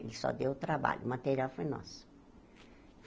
Ele só deu o trabalho, o material foi nosso.